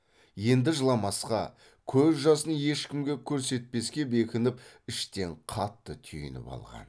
енді жыламасқа көз жасын ешкімге көрсетпеске бекініп іштен қатты түйініп алған